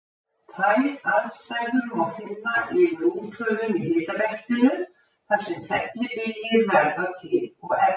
Þær aðstæður má finna yfir úthöfum í hitabeltinu, þar sem fellibyljir verða til og eflast.